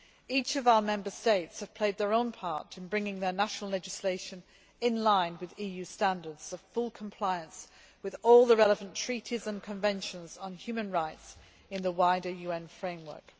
Each of our Member States have played their own part in bringing their national legislation in line with EU standards of full compliance with all the relevant treaties and conventions on human rights in the wider UN framework.